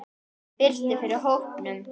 Það birti yfir hópnum.